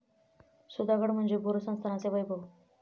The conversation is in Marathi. सुधागड म्हणजे भोर संस्थानाचे वैभव.